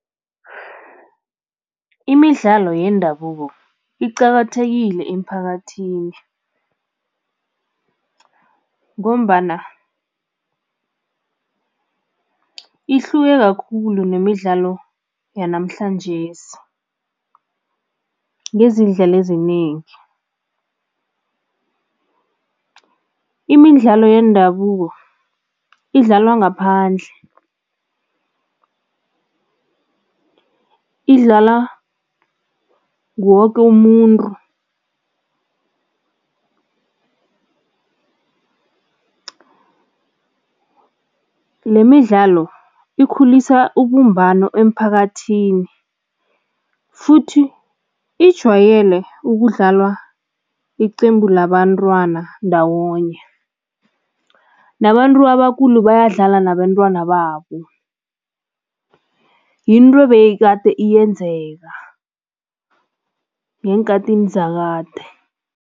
Imidlalo yendabuko iqakathekile emiphakathini ngombana ihluke kakhulu nemidlalo yanamhlanjesi ngezindlela ezinengi. Imidlalo yendabuko idlalwa ngaphandle, idlalwa nguwoke umuntu, lemidlalo ikhulisa ubumbano emphakathini futhi ijwayele ukudlalwa iqembu labantwana ndawonye, nabantu abakhulu bayadlala nabentwana babo, yinto ebeyikade yenzeka ngeenkhathini zakade.